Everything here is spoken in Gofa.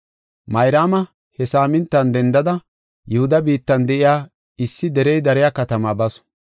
Mayraama he saamintan dendada Yihuda biittan de7iya issi derey dariya katama basu.